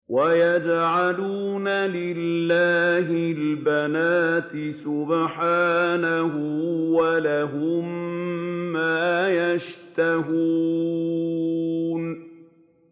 وَيَجْعَلُونَ لِلَّهِ الْبَنَاتِ سُبْحَانَهُ ۙ وَلَهُم مَّا يَشْتَهُونَ